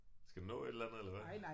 Skal du nå et eller andet eller hvad?